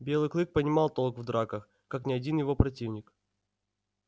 белый клык понимал толк в драках как ни один его противник